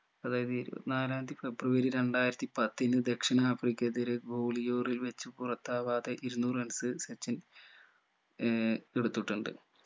അതായത് ഇരുപത്തി നാലാംതി ഫെബ്രുവരി രണ്ടായിരത്തി പത്തിനു ദക്ഷിണാഫ്രിക്കയിത്തെ ഒരു ഗോളിയോറിൽ വെച്ച് പുറത്താവാതെ ഇരുനൂറ് runs സച്ചിൻ ഏർ എടുത്തിട്ടുണ്ട്